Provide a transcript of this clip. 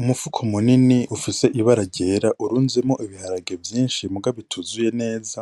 Umufuko munini ufise ibara ryera urunzemwo ibiharage vyinshi muga bituzuye neza